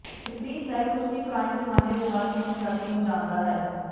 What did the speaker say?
freestyle ਕੁਸ਼ਤੀ ਪੁਰਾਣੇ ਜ਼ਮਾਨੇ ਦੇ ਬਾਅਦ ਮਨੁੱਖਜਾਤੀ ਨੂੰ ਜਾਣਦਾ ਹੈ